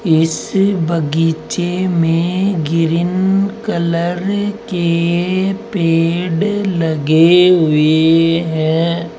इस बागीचे में ग्रीन कलर के पेड़ लगे हुए हैं।